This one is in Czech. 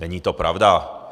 Není to pravda.